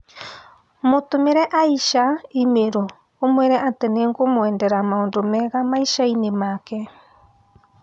Mũtũmĩre Aisha i-mīrū ũmwĩre atĩ nĩ ngũkũmwendera maũnda mega maishaa-ĩnĩ maake